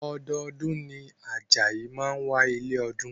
Ọdọọdún ni Ajayi máa ń wá ilé ọdún